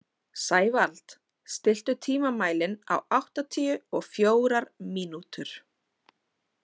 Sævald, stilltu tímamælinn á áttatíu og fjórar mínútur.